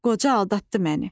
Qoca aldatdı məni.